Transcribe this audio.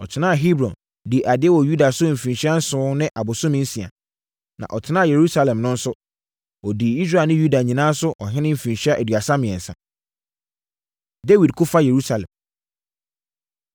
Ɔtenaa Hebron dii adeɛ wɔ Yuda so mfirinhyia nson ne abosome nsia. Na ɔtenaa Yerusalem no nso, ɔdii Israel ne Yuda nyinaa so ɔhene mfirinhyia aduasa mmiɛnsa. Dawid Ko Fa Yerusalem